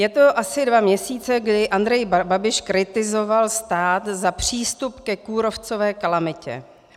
Je to asi dva měsíce, kdy Andrej Babiš kritizoval stát za přístup ke kůrovcové kalamitě.